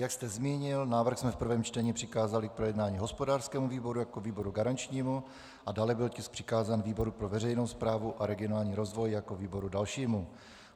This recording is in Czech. Jak jste zmínil, návrh jsme v prvém čtení přikázali k projednání hospodářskému výboru jako výboru garančnímu a dále byl tisk přikázán výboru pro veřejnou správu a regionální rozvoj jako výboru dalšímu.